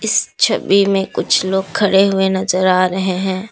इस छवि में कुछ लोग खड़े हुए नजर आ रहे हैं।